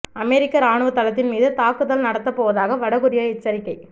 அமெரிக்க ராணுவ தளத்தின் மீது தாக்குதல் நடத்தப்போவதாக வட கொரியா எச்சரிக்கை